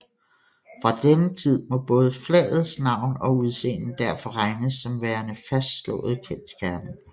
Fra denne tid må både flagets navn og udseende derfor regnes som værende fastslåede kendsgerninger